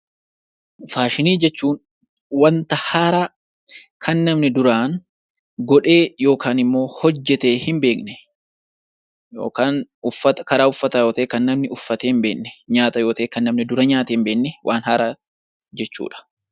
Faashinii jechuun wanta haaraa kan namni duraan godhee yookaan immoo hojjatee hin beekne yookaan karaa uffataa yoo ta'e kan namni uffatee hin beekne nyaata yoo ta'e kan namni dura nyaatee hin beekne waan haaraa jechuudha.